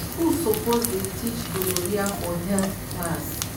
school suppose dey teach gonorrhea for health class.